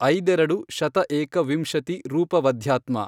ಐದೆರಡು ಶತ ಏಕ ವಿಂಶತಿ ರೂಪವಧ್ಯಾತ್ಮ।